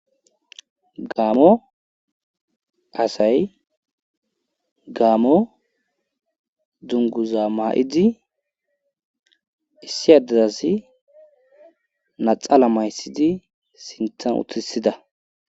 Gaamo asay gaamo dunguza maa7idi issi adedasi naxaala mayssidi sintan utisida...